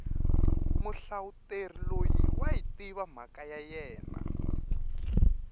muhlavuteri loyi wayi tiva mhaka ya yena